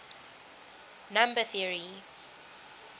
number theory